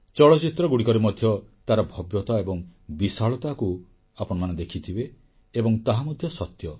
ଚଳଚ୍ଚିତ୍ରଗୁଡ଼ିକରେ ମଧ୍ୟ ତାର ଭବ୍ୟତା ଏବଂ ବିଶାଳତାକୁ ଆପଣମାନେ ଦେଖିଥିବେ ଏବଂ ତାହା ମଧ୍ୟ ସତ୍ୟ